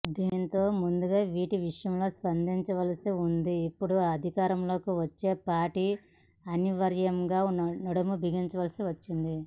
దీనితో ముందుగా వీటి విషయంలో స్పందించాల్సి ఉందని ఇప్పుడు అధికారంలోకి వచ్చే పార్టీ అనివార్యంగా నడుంబిగించాల్సి వచ్చింది